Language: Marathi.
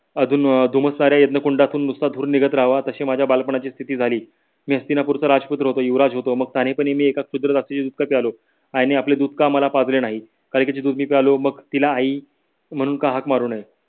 अधून अं धुमसणाऱ्या अग्नि कुंडातून नुसता धूर निघत राहावा तशी माझी बालपणाची स्थिति झाली मी हस्तिनपूर चा राजपुत्र होतो युवराज होतो मग साने पनी मी एका शूद्र जातीचे दूध का प्यायलो. आई ने आपले दूध का मला पाजले नाही कालिकेचे दूध पिलो मग तिला आई म्हणून का हाक मारू नये